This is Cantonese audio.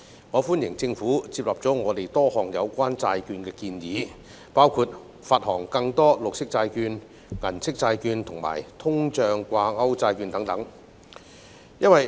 我歡迎政府接納了我們就債券提出的多項建議，包括發行更多綠色債券、銀色債券及通脹掛鈎債券等。